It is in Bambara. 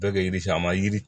Bɛɛ kɛ yiri sa ma yiri